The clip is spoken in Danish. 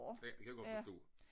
Ja det kan jeg godt forstå